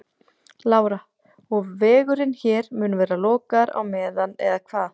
Lára: Og vegurinn hér mun vera lokaður á meðan eða hvað?